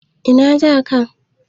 Ina za ka?